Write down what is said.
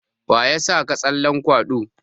Waya saka tsallen kwaɗo?